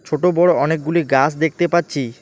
ছোটো বড়ো় অনেকগুলি গাস দেখতে পাচ্ছি।